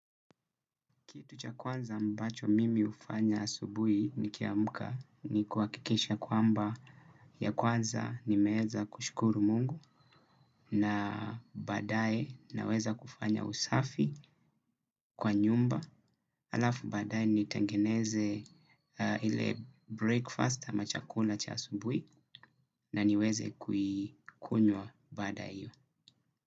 Kitu cha kwanza mbacho mimi hufanya asubhi ni kiamka ni kwa kuhakikisha kwamba ya kwanza ni meweza kushukuru mungu na baadae naweza kufanya usafi kwa nyumba. Halafu badae ni tengeneze ile breakfast ama chakula cha asubuhi na niweze kuikunywa baada hiyo.